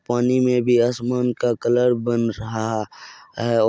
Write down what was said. पानी में भी आसमान का कलर बन रहा है।